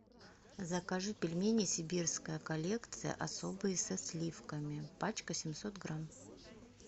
закажи пельмени сибирская коллекция особые со сливками пачка семьсот грамм